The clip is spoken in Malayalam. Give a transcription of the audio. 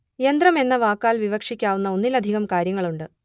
യന്ത്രം എന്ന വാക്കാൽ വിവക്ഷിക്കാവുന്ന ഒന്നിലധികം കാര്യങ്ങളുണ്ട്